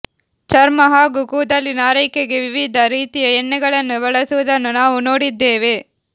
ಚರ್ಮ ಹಾಗೂ ಕೂದಲಿನ ಆರೈಕೆಗೆ ವಿವಿಧ ರೀತಿಯ ಎಣ್ಣೆಗಳನ್ನು ಬಳಸುವುದನ್ನು ನಾವು ನೋಡಿದ್ದೇವೆ